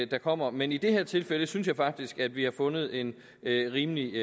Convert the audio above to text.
der kommer men i det her tilfælde synes jeg faktisk at vi har fundet en rimelig